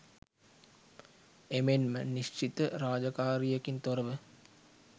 එමෙන්ම නිශ්චිත රාජකාරියකින් තොරව